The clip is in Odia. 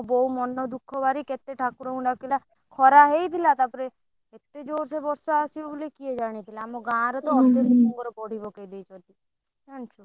କେତେ ଠାକୁରଙ୍କୁ ଡାକିଲା ଖରା ହେଇଥିଲା ତାପରେ ଏତେ ଜୋରସେ ବର୍ଷା ଆସିବ ବୋଲି କିଏ ଜାଣିଥିଲା ଆମ ଗାଁରେ ତ ଅଧେ ଲୋକଙ୍କର ବଡି ପକେଇ ଦେଇଛନ୍ତି ଜାଣିଛୁ।